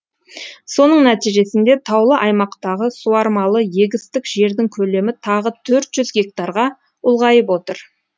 соның нәтижесінде таулы аймақтағы суармалы егістік жердің көлемі тағы төрт жүз гектарға ұлғайып отыр